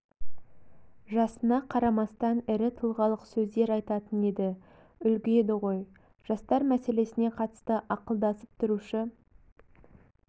жасына қарамастан ірі тұлғалық сөздер айтатын еді үлгі еді ғой жастар мәселесіне қатысты ақылдасып тұрушы